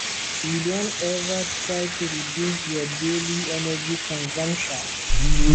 you don ever try to reduce your daily energy consumption